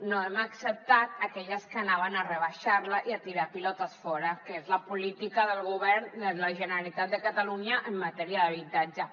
no hem acceptat aquelles que anaven a rebaixar la i a tirar pilotes fora que és la política del govern la generalitat de catalunya en matèria d’habitatge